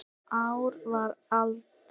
Ár var alda